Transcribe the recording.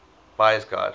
buyer s guide